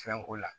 Fɛn ko la